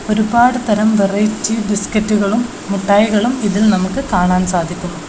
ഒരുപാട് തരം വെറൈറ്റി ബിസ്ക്കറ്റുകളും മുട്ടായികളും ഇതിൽ നമുക്ക് കാണാൻ സാധിക്കുന്നു.